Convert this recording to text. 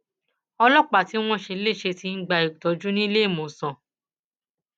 ọlọpàá tí wọn ṣe léṣe ti ń gba ìtọjú níléemọsán